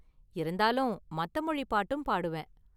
இருந்தாலும், மத்த மொழி பாட்டும் பாடுவேன்.